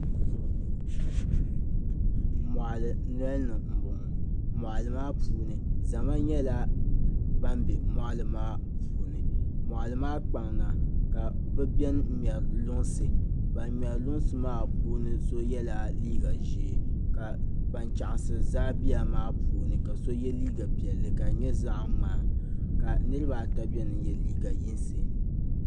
Mɔɣili noli ni mbɔŋɔ mɔɣili maa puuni zama nyɛla ban bɛ mɔɣili maa puuni mɔɣili maa kpaŋ na ka bɛ beni ŋmɛri luŋsi ban ŋmɛri luŋsi maa puuni so yɛlla liiga ʒee ka ban chaɣiri zaabiya maa puuni so yɛ liiga piɛlli ka di nyɛ zaɣa ŋmaa niri ata bɛni n yɛ liiga yinsi.